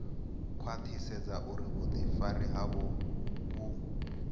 khwaṱhisedza uri vhuḓifari havho vhu